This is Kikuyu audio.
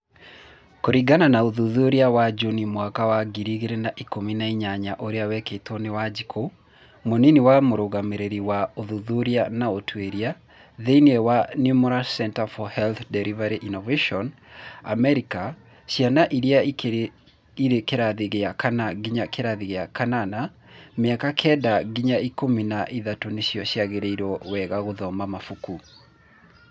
Kũringana na ũthuthuria wa Juni mwaka wa ngiri igirĩ na ikũmina inyanya ũria wekĩtwo nĩ Wanjikũ, Mũnĩni wa Mũrũgamĩrĩri wa , ũthuthuria na ũtuĩria, thĩinĩ wa Nemours Centre for Health Delivery ĩnnovation Amerika, ciana iria irĩ kĩrathi gĩa kana nginya gĩa kanana ,mĩaka kenda nginya ikũmi na ithatũ nĩcio ciĩriragĩrio wega gũthoma mabuku.